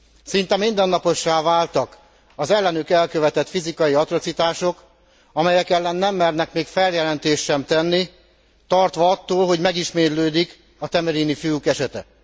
Szinte mindennapossá váltak az ellenük elkövetett fizikai atrocitások, amelyek ellen nem mernek még feljelentést sem tenni, tartva attól, hogy megismétlődik a temerini fiúk esete.